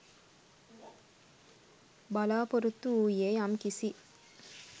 බලාපොරොත්තු වූයේ යම් කිසි